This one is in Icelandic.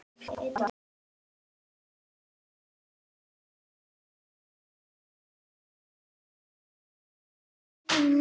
Allt vill lagið hafa.